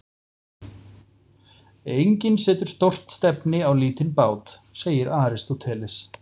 Enginn setur stórt stefni á lítinn bát, segir Aristóteles.